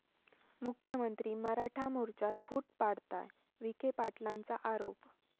मुख्यमंत्री मराठा मोर्चात फूट पाडताय, विखे पाटलांचा आरोप